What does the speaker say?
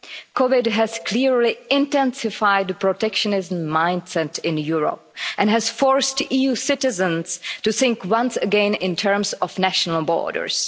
COVID has clearly intensified the protectionist mind set in Europe and has forced EU citizens to think once again in terms of national borders.